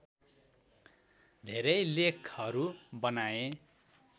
धेरै लेखहरू बनाए